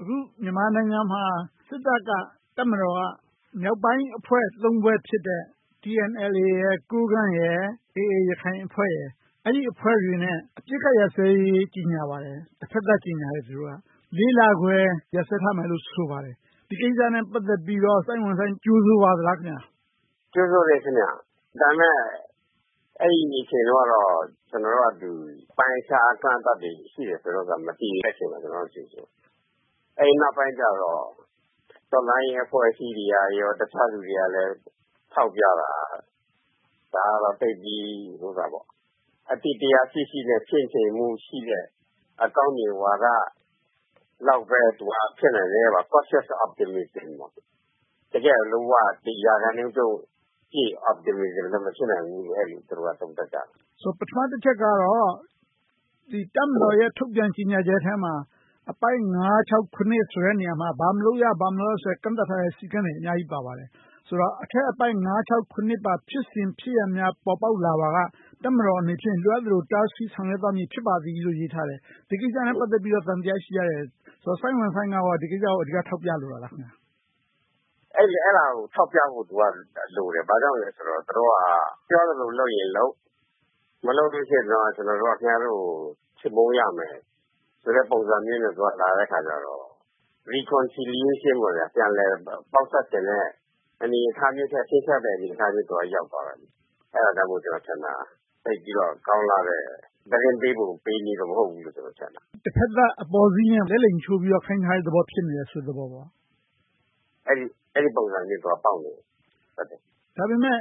အခုမြန်မာနိုင်ငံမှာ တပ်မတော်က မြောက်ပိုင်းအဖွဲ့ ဖွဲ့ဖြစ်တဲ့ KNLA, ကိုးကန့် နဲ့ AA ရခိုင်အဖွဲ့တို့နဲ့ အပစ်အခတ်ရပ်စဲရေး ကျေညာပါတယ်။ တဖက်သတ်ကျေညာပါတယ်။ လခွဲ ရပ်စဲထားမယ်လို့ ဆိုပါတယ်။ ဒီကိစ္စနဲ့ ပတ်သက်ပြီးတော့ စိုင်းဝမ်ဆိုင်း ကြိုဆိုပါသလား။ ကြိုဆိုပါတယ်။ ဒါပေမဲ့ အဲဒီအချိန်တုန်းကတော့ ကျနော်တို့က အပိုင်းအခြားအကန့်အသတ်တွေ ရှိနေတယ်ဆိုတော့ မတည်တဲ့အချိန်မှာ ကြိုဆိုခဲ့တယ်။ အဲဒီနောက်ပိုင်းကြတော့ တော်လှန်ရေးအဖွဲ့အစည်းတွေ၊ တခြားလူတွေ ထောက်ပြတာက ဒါကတော့ အသိတရားရှိရှိနဲ့ ချင့်ချိန်မှုရှိတဲ့ အကောင်မြင်ဝါဒလောက်ပဲ သူက ဖြစ်နိုင်တယ် Concious of optimism ပေါ့။ တကယ်ကို လုံးဝ ရာခိုင်နှုန်းပြည့် Optimism လည်း မဖြစ်နိုင်ဘူးလို့ အဲဒီလို သုံးသပ်ကြတယ်။ ဆိုတော့ ပထမတချက်ကတော့ တပ်မတော်ရဲ့ ထုတ်ပြန်ကျေညာချက်ထဲမှာ အပိုင်း နေရာမှာ ဘာမလုပ်ရ၊ ဘာမလုပ်ဆိုတဲ့ ကန့်သတ်ထားတဲ့ စည်းကမ်းတွေ အများကြီးပါပါတယ်။ ဆိုတော့ အထက်အပိုဒ် မှာ ဖြစ်စဉ်ဖြစ်ရပ်များ ပေါ်ပေါက်လာပါက တပ်မတော်အနေဖြင့် လိုအပ်သလို တားဆီးဆောင်ရွက်သွားမည် ဖြစ်ပါသည်လို့ ရေးထားတယ်။ ဒီကိစ္စနဲ့ ပတ်သက်ပြီး သံသယရှိကြတယ်။ ဆိုတော့ စိုင်းဝမ်ဆိုင်းက ဒီကိစ္စကို အဓိကထောက်ပြလိုတာလား။ အဲဒါကို ထောက်ပြဖို့လိုတယ်။ ဘာကြောင့်လဲဆိုတော့ သူတို့က သူတို့ပြောသလို လုပ်ရင်လုပ် မလုပ်ရင် ခင်များတို့ကို ချေမှုန်းရမယ်ဆိုတဲ့ ပုံစံမျိုးနဲ့ သူတို့က လာတဲ့အခါကြတော့ Reconciliation ပြန်လည်ပေါင်းစပ်ချင်တဲ့ အနေအထားမျိုးထက် ခြိမ်းခြောက်တဲ့အနေအထားမျိုး ရောက်သွားတယ်။ အဲဒါကြောင့်မို့ ကျနော်ထင်တာ သိပ်ပြီးတော့ ကောင်းလှတဲ့ သတင်းပေးပုံပေးနည်း မဟုတ်ဘူးလို့ ကျနော်ထင်တာ။ တဘက်သတ် အပေါ်စီးနဲ့ လက်လှိမ်ချိုးပြီး ခိုင်းထားတဲ့သဘောမျိုး ဖြစ်နေတယ်ဆိုတဲ့ သဘောပေါ့။ အဲဒီပုံစံမျိုး ပေါက်နေတယ်။ ဒါပေမဲ့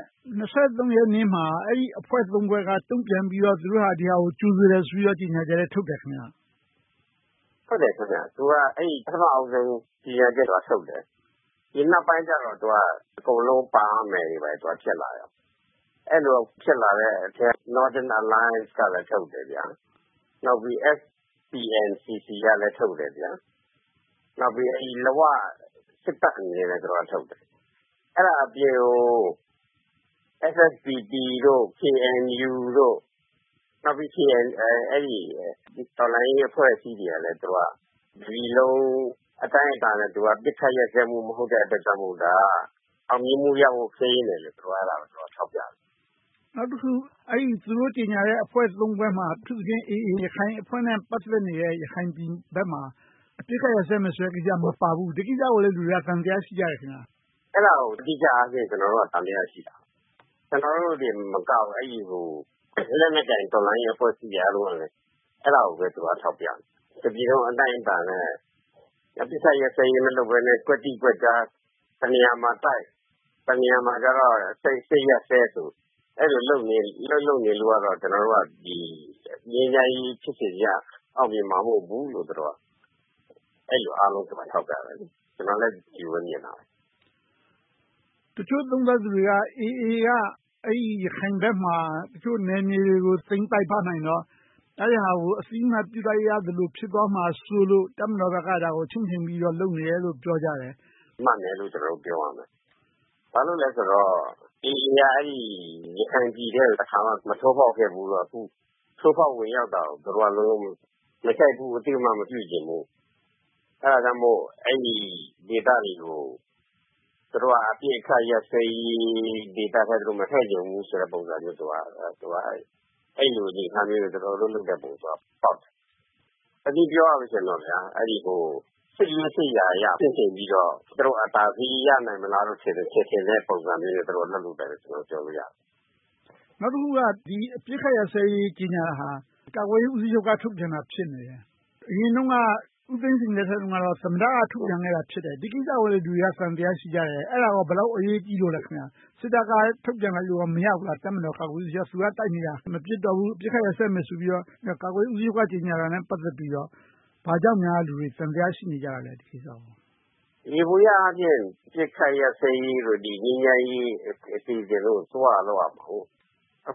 ရက်နေ့မှာ အဲဒီအဖွဲ့ ဖွဲ့က တုံ့ပြန်ပြီးတော့ သူတို့ဟာ ဒါကိုကြိုဆိုတယ်ဆိုပြီးတော့ ကျေညာချက်လည်း ထုတ်တယ်။ ဟုတ်တယ်။ သူတို့က ပထမဦးဆုံး ကျေညာချက်ထုတ်တယ်။ ဒီနောက်ပိုင်းကြတော့ အကုန်လုံးပါရမယ်ဆိုတာတွေ ဖြစ်လာတဲ့နောက် Northern Alliance ကလည်း ကျေညာချက်ထုတ်တယ်။ နောက် SPNCC ကလည်း ထုတ်တယ်။ နောက်ပြီး ဝစစ်တပ်ကလည်း ထုတ်တယ်။ အဲဒါအပြင်ကို SSPP တို့၊ KNU နောက်ပြီး တော်လှန်ရေးအဖွဲ့အစည်းတွေကလည်း တပြည်လုံးအတိုင်းအတာနဲ့ အပစ်အခတ်ရပ်စဲမှု မဟုတ်တဲ့အတွက်ကြောင့်မို့ ဒါက အောင်မြင်မှုရဖို့ ခဲယဉ်းတယ်လို့ အဲဒါကို ထောက်ပြတယ်။ နောက်တခုက သူတို့ကျေညာတဲ့ အဖွဲ့ ဖွဲ့ထဲမှာ အထူးသဖြင့် AA ရခိုင်အဖွဲ့နဲ့ ပတ်သက်နေတဲ့ ရခိုင်ပြည်နယ်ဘက်မှာ အပစ်အခတ်ရပ်စဲမယ်ဆိုတဲ့ ကိစ္စမပါဘူး။ ဒီကိစ္စကိုလည်း လူတွေက သံသယရှိကြတယ်။ အဲဒါကို ကျနော်တို့က အဓိက သံသယရှိတာ။ ကျနော်တို့တင်မကဘူး လက်နက်ကိုင်အဖွဲ့အစည်းတွေကလည်း အဲဒါကို ထောက်ပြနေတာ။ တပြည်လုံးအတိုင်းအတာနဲ့ အပစ်အခတ်ရပ်စဲရေး မလုပ်ဘဲနဲ့ ကွက်တိကွက်ကြား တနေရာမှာတိုက်၊ တနေရာမှာ စစ်ရပ်စဲ လုပ်နေလို့ကတော့ ငြိမ်းချမ်းရေးဖြစ်စဉ်ကြီးက အောင်မြင်မှာမဟုတ်ဘူးလို့ သူတို့က ထောက်ပြကြတာ။ ကျနော်လည်း အဲဒီလိုပဲမြင်တယ်။ တချို့သုံးသပ်သူတွေက AA က အဲဒီရခိုင်ဘက်မှာ တချို့နယ်မြေတွေကို သိမ်းပိုက်ထားနိုင်တော့ အဲဒါကို အသိအမှတ်ပြုလိုက်ရသလို ဖြစ်သွားမှာစိုးလို့ တပ်မတော်ဘက်က အဲဒါကို ချင့်ချိန်ပြီးတော့ လုပ်နေတယ်လို့ ပြောကြတယ်။ မှန်တယ်လို့ ပြောရမယ်။ ဘာဖြစ်လို့လဲဆိုတော့ AA က အဲဒီရခိုင်ပြည်ထဲကို တခါမှ မထိုးဖောက်ခဲ့ဖူးဘူးဆိုတော့ အခု ထိုးဖောက်ဝင်ရောက်တာကို သူတို့ မကြိုက်ဘူး၊ အသိအမှတ်မပြုချင်ဘူး။ အဲဒါကြောင့်မို့ အဲဒီဒေသတွေကို သူတို့က အပစ်အခတ်ရပ်စဲရေး ဒေသထဲ မထည့်ချင်ကြတဲ့ ပုံစံမျိုး သူတို့က အဲဒီအနေအထားနဲ့ လုပ်တဲ့ပုံပေါက်တယ်။ တနည်းပြောရမယ်ဆိုရင် စစ်ရေးစစ်ရာအရ ချင့်ချိန်ပြီးတော့ သူတို့အသာစီးရနိုင်မလား ထင်တဲ့ပုံစံမျိုးနဲ့ လုပ်တာလို့ ပြောလို့ရမယ်။ နောက်တခုက အပစ်အခတ်ရပ်စဲရေး ကျေညာတာဟာ ကာကွယ်ရေးဦးစီးချုပ်က ထုတ်ပြန်တာ ဖြစ်နေတယ်။ အရင်တုန်းက ဦးသိန်းစိန်လက်ထက်တုန်းက သမ္မတက ထုတ်ပြန်ခဲ့တာဖြစ်တယ်။ ဒီကိစ္စကိုလည်း လူတွေက သံသယ ရှိကြတယ်။ အဲဒါက ဘယ်လောက်အရေးကြီးလို့လဲ။ စစ်တပ်က ထုတ်ပြန်လိုက်လို့ မရဘူးလား။ တပ်မတော်ကာကွယ်ရေးဦးစီးချုပ်က သူတို့က တိုက်နေတာ၊ မပစ်တော့ဘူး အပစ်အခတ်ရပ်စဲမယ်ဆိုပြီးတော့ ကာကွယ်ရေးဦးစီးချုပ်က ကာကွယ်တာနဲ့ ပတ်သက်ပြီးတော့ ဘာကြောင့် လူတွေက သံသယ ရှိနေကြတာလဲ။ ဒီကိစ္စကို။ ယေဘုယျအားဖြင့် အပစ်အခတ်ရပ်စဲရေးတို့၊ ငြိမ်းချမ်းရေးအစီအစဉ်တို့ အစိုးရက လုပ်ရမှာ။ အခုက အ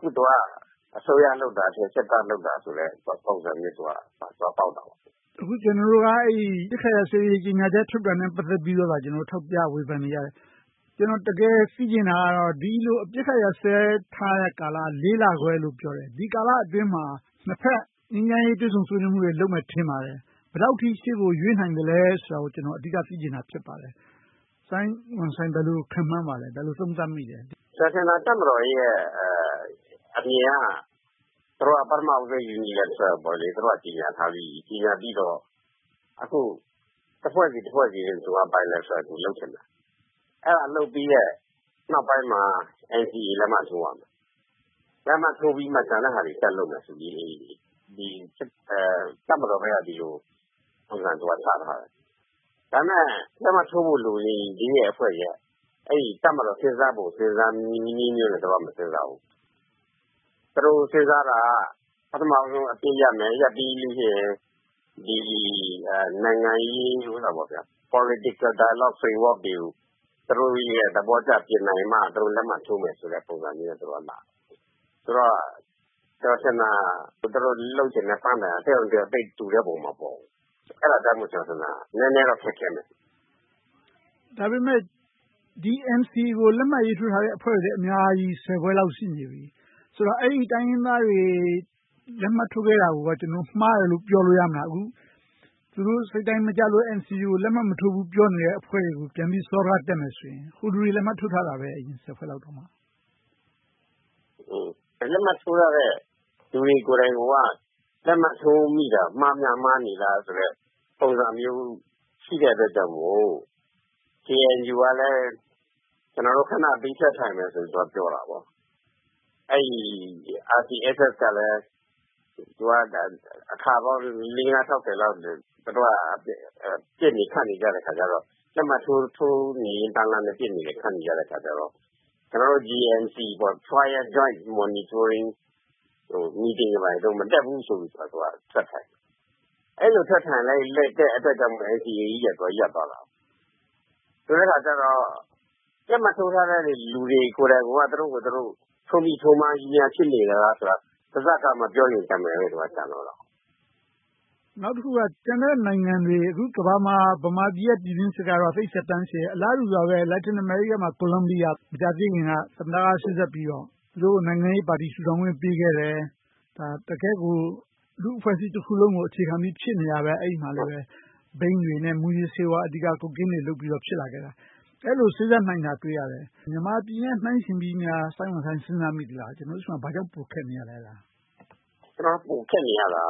စိုးရလုပ်တာထက် စစ်တပ်လုပ်တာဆိုတဲ့ ပုံစံမျိုး ဖြစ်နေတာပေါ့။ အခုက ကျနော်တို့က အပစ်အခတ်ရပ်စဲရေး ကျေညာချက်ထုတ်တာနဲ့ ပတ်သက်ပြီးတော့ ထောက်ပြဝေဖန်နေကြတယ်။ ကျနော် တကယ်သိချင်တာက ဒီလိုအပစ်အခတ် ရပ်စဲထားတဲ့ကာလကို လေးလခွဲလို့ ပြောတယ်။ ဒီကာလအတွင်းမှာ နှစ်ဘက်ငြိမ်းချမ်းရေး တွေ့ဆုံဆွေးနွေးမှုတွေ လုပ်မယ်လို့ ထင်ပါတယ်။ ဘယ်လောက်အထိ ရှေ့ကိုရွေ့နိုင်သလဲဆိုတာကို အဓိကသိချင်တာ ဖြစ်ပါတယ်။ စိုင်းဝမ်ဆိုင်း ဘယ်လိုခန့်မှန်းပါသလဲ။ ဘယ်လိုသုံးသပ်မိသလဲ။ ကျနော်ထင်တာ တပ်မတော်ရဲ့အမြင်က ပထမဦးဆုံး Uniliteral သူတို့က ကျေညာထားပြီးပြီ။ ပြန်ပြီးတော့ တဖွဲ့ဆီနဲ့ Biliteral လုပ်ချင်တာ။ အဲဒါလုပ်ပြီးတဲ့နောက်ပိုင်းမှာ NCA လက်မှတ်ထိုးရမယ်။ လက်မှတ်ထိုးပြီးမှ ကျန်တဲ့ဟာတွေ ဆက်လုပ်မယ်ဆိုပြီး တပ်မတော်ဘက်က ဒီလိုပုံစံ ချထားတယ်။ ဒါပေမဲ့ လက်မှတ်ထိုးဖို့ လိုနေသေးတဲ့ အဖွဲ့တွေက အဲဒီလို တပ်မတော်စဉ်းစားပုံ စဉ်းစားနည်းနဲ့ သူတို့က မစဉ်းစားဘူး။ သူတို့စဉ်းစားတာက ပထမဦးဆုံး အပစ်ရပ်မယ်။ ရပ်ပြီတဲ့နောက် နိုင်ငံရေး Political Dialogue Framework တွေကို သူတို့သဘောကျနိုင်မှ လက်မှတ်ထိုးမယ်ဆိုတဲ့ ပုံစံမျိုးနဲ့ သူတို့ကလာတယ်။ ဆိုတော့ ကျနော်ထင်တာ သူတို့လုပ်ချင်တဲ့ ပန်းတိုင်က တယောက်နဲ့တယောက် သိပ်တူတဲ့ပုံ မပေါ်ဘူး။ အဲဒါကြောင့် ကျနော်ထင်တာ နည်းနည်းတော့ ခက်ခဲမယ်။ ဒါပေမဲ့ ဒီ NCA ကို လက်မှတ်ထိုးထားတဲ့ အဖွဲ့တွေလည်း အများကြီး ဖွဲ့လောက် ရှိနေပြီ။ ဆိုတော့ အဲဒီတိုင်းရင်းသားတွေ လက်မှတ်ထိုးခဲ့တာကို မှားတယ်လို့ ပြောလို့ရမလား။ အခု သူတို့စိတ်တိုင်းမကျလို့ NCA ကို လက်မှတ်မထိုးဘူးလို့ ပြောနေတဲ့အဖွဲ့တွေကို စောဒကတက်မယ်ဆိုရင် ဟိုလူတွေ လက်မှတ်ထိုးထားတာပဲ… လက်မှတ်ထိုးထားတဲ့ လူတွေကိုယ်တိုင်က လက်မှတ်ထိုးမိတာ မှားများမှားနေလားဆိုတဲ့ ပုံစံမျိုး ရှိတဲ့အတွက်ကြောင့်မို့ KNU ကလည်း ကျနော်တို့ ခဏဘေးထွက်ထိုင်မယ်ဆိုပြီး ပြောလာတယ်။ RCSS ကလည်း အခါပေါင်း လေးငါးခြောက်ဆယ်လောက် ပစ်နေခတ်နေကြတော့ လက်မှတ်ထိုးနေတန်းလန်းနဲ့ ပစ်နေတဲ့အခါကြတော့ ကျနော်တို့ JMC – Joint Monitoring အစည်းအဝေးတွေ မတက်ဘူးဆိုပြီးတော့ သူက ထွက်ထိုင်တယ်။ အဲဒီလို ထွက်ထိုင်လိုက်တဲ့အတွက်ကြောင့်လဲ NCA ကြီးက ရပ်သွားတယ်။ ဆိုတဲ့အခါကြတော့ လက်မှတ်ထိုးထားတဲ့ လူတွေကိုယ်တိုင်က သူတို့ကိုယ်သူတို့ ထိုးမှားကြီးများ ဖြစ်နေသလားဆိုတာကို ပါးစပ်က မပြောရုံပဲ ကျန်တော့တယ်။ နောက်တခုက ကျန်တဲ့နိုင်ငံတွေ အခုကမ္ဘာမှာ ဗမာပြည်ရဲ့ ပြည်တွင်းစစ်ကတော့ သိပ်သက်တမ်းရှည်တယ်။ အလားတူပါပဲ Latin America မှာ Columbia မှာ မကြာသေးမီက သမ္မတက သူတို့ကို နိုင်ငံရေးပါတီ ထူထောင်ခွင့်ပေးခဲ့တယ်။ တကယ့်ကို လူ့အဖွဲ့အစည်းတခုလုံးကို အခြေခံပြီးဖြစ်နေတယ်။ အဲဒီမှာ ဘိန်းတွေ၊ မူးယစ်ဆေးဝါး Cocain တွေ လုပ်ပြီးတော့ ဖြစ်နေတယ်။ အဲဒီမှာ စေ့စပ်နိုင်တာ တွေ့ရတယ်။ မြန်မာပြည်နဲ့ နှိုင်းယှဉ်ပြီး စဉ်းစားမိသလား။ ကျနော်တို့ဆီမှာ ဘာကြောင့် ပိုခက်နေရလဲ။ ကျနော်တို့ဆီမှာ ပိုခက်နေရတာ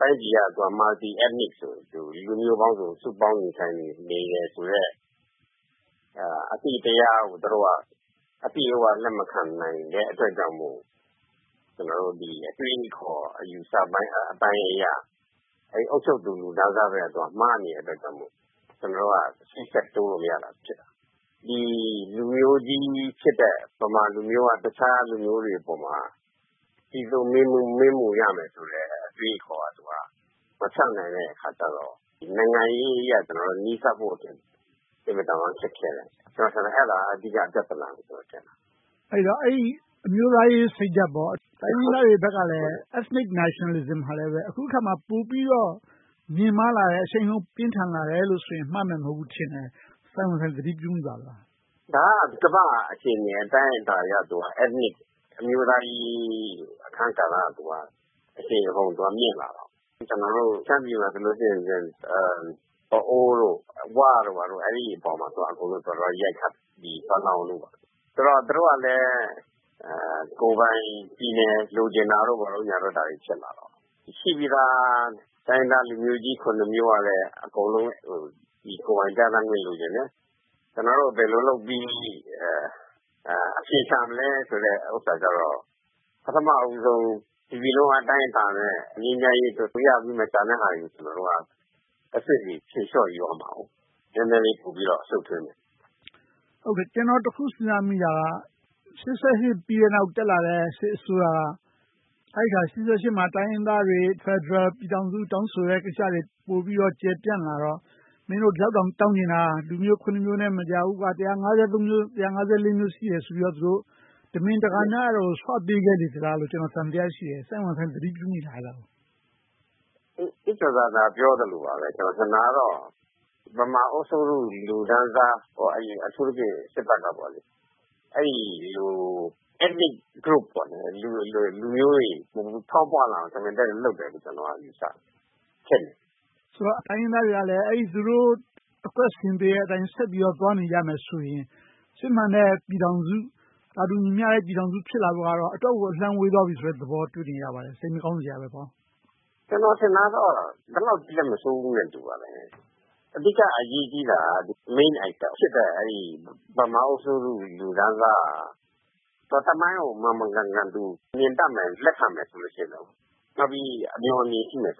တိုင်းပြည်က Multi-ethnics လူမျိုးပေါင်းစုံ စုပေါင်းနေထိုင်နေတယ်ဆိုတဲ့ အသိတရားကို သူတို့က အပြည့်အဝ လက်မခံနိုင်သေးတဲ့အတွက်ကြောင့်မို့ အတွေးအခေါ်အယူအဆပိုင်းအရ အုပ်ချုပ်သူလူတန်းစားဘက်က မှားနေတဲ့အတွက်ကြောင့်မို့ ကျနော်တို့က ရှေ့ဆက်တိုးလို့မရတာဖြစ်တယ်။ လူမျိုးကြီးဖြစ်တဲ့ ဗမာလူမျိုးက တခြားလူမျိုးတွေအပေါ်မှာ ကြီးစိုးမင်းမှုရမယ်ဆိုတဲ့ အတွေးအခေါ်ကို မဖျောက်နိုင်တဲ့အခါကြတော့ နိုင်ငံရေးအရ နီးစပ်ဖို့အတွက် အင်မတန်မှ ခက်ခဲတယ်။ အဲဒါက အဓိက ပြဿနာလို့ ကျနော်ထင်တယ်။ အဲဒီအမျိုးသားရေးစိတ်ဓါတ်.. တိုင်းရင်းသားတွေဘက်ကလည်း Ethnic Nationalism ကလည်း အခုအခါမှာ ပိုပြီးတော့ မြှင့်မားလာတယ်။ အရှိန်အဟုန်ကောင်းလာတယ်ဆိုရင် မှားမယ်မဟုတ်ဘူးလို့ ထင်တယ်။ စိုင်းဝမ်ဆိုင်း သတိပြုမိပါလား။ ဒါက ကမ္ဘာ့အခြေအနေ အတိုင်းအတာအရ အမျိုးသားရေး အခန်းကဏ္ဍက အရှိန်အဟုန်မြှင့်လာတာ။ ကျနော်တို့ ရှမ်းပြည်မှာဆိုရင် ပအို့ဝ်၊ ဝတို့က အဲဒီအပေါ်မှာ သွားပြီးရိုက်ခတ်ကြတယ်။ သူတို့ကလည်း ကိုယ်ပိုင်ပြည်နယ် လိုချင်တာတို့ဘာတို့ ဖြစ်လာတော့ ရှိပြီသား တိုင်းရင်းသားလူမျိုးကြီး မျိုးကလည်း အကုန်လုံး ကိုယ်ပိုင်ပြဌာန်းခွင့် လိုချင်တယ်။ ကျနော်တို့ ဘယ်လိုလုပ်ပြီး အဖြေရှာမလဲဆိုတာတော့ ပထမဦးဆုံး တပြည်လုံးအတိုင်းအတာနဲ့ ငြိမ်းချမ်းရေးရရမယ်။ ကျန်တဲ့ဟာတွေကို တဆင့်ဆီဖြေလျှော့ယူရမယ်။ နည်းနည်းလေးပိုပြီးတော့ ရှုပ်ထွေးမယ်။ ကျနော် တခုစဉ်းစားမိတာက ရှစ်ဆယ့်ရှစ်နောက် တက်လာတဲ့ စစ်အစိုးရက ရှစ်ဆယ့်ရှစ်နောက်မှာ တိုင်းရင်းသားတွေ ဖယ်ဒရယ်ပြည်ထောင်စု တောင်းဆိုတဲ့ကိစ္စတွေ ပိုပြီးတော့ ကျယ်ပြန့်လာတော့ မင်းတို့ ဒီလောက်တောင် တောင်းချင်တာ လူမျိုး မျိုးနဲ့ မရဘူး။ မျိုး၊ မျိုး ရှိတယ်ဆိုပြီးတော့ တမင်တကာများ စွပေးခဲ့လေသလားလို့ ကျနော် သံသယ ရှိမိတယ်။ စိုင်းဝမ်ဆိုင်း သတိပြုမိလား။ ဦးကျော်ဇံသာ ပြောသလိုပါပဲ… ကျနော်ထင်တာကတော့ ဗမာအုပ်ချုပ်သူ လူတန်းစား အထူးသဖြင့် စစ်တပ်က အဲဒီလို Ethnic Groups လူမျိုးတွေ ဖောင်းပွလာအောင် တမင်သက်သက် လုပ်တယ်လို့ ကျနော်က ယူဆတယ်။ ဆိုတော့ တိုင်းရင်းသားတွေကလည်း သူတို့ အကွက်ဆင်ပေးတဲ့အတိုင်း ဆက်ပြီးတော့ သွားနေကြမယ်ဆိုရင် စစ်မှန်တဲ့ပြည်ထောင်စု၊ သာတူညီမျှတဲ့ ပြည်ထောင်စု ဖြစ်လာဖို့ကတော့ အတော့်ကို အလှမ်းဝေးသွားပြီဆိုတဲ့သဘော တွေ့နေရပါတယ် စိတ်မကောင်းစရာပါ။ ကျနော် ထင်တာတော့ ဒီလောက်ကြီးလဲ မဆိုးဘူးလို့ ထင်ပါတယ်။ အဓိက အရေးကြီးတာက Main Actor ဖြစ်တဲ့ ဗမာအုပ်စိုးသူလူတန်းစားက သမိုင်းကို မှန်မှန်ကန်ကန် မြင်တတ်မယ် လက်ခံမယ်ဆိုရင်တော့ နောက်ပြီး အမျှော်အမြင်ရှိမယ်ဆို